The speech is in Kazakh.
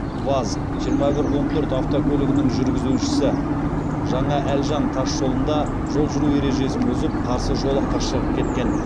ваз жиырма бір он төрт автокөлігінің жүргізушісі жаңаәлжан тас жолында жол жүру ережесін бұзып қарсы жолаққа шығып кеткен